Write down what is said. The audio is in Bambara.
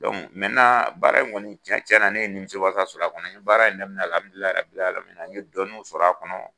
baara in kɔni cɛn cɛn na ne ye nimisiwasa sɔrɔ a kɔnɔ n ye baara n ye dɔnniw sɔrɔ a kɔnɔ